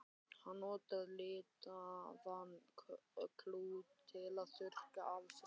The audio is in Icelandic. Hann notaði litaðan klút til að þurrka af sér svitann.